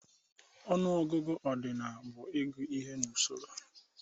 Ọnụọgụgụ ọdinal bụ ịgụ ihe n'usoro